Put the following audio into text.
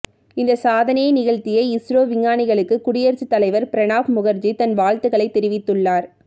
இந்த சாதனையை நிகழ்த்திய இஸ்ரோ விஞ்ஞானிகளுக்கு குடியரசுத் தலைவர் பிரணாப் முகர்ஜி தன் வாழ்த்துகளை தெரிவித்துள்ளார்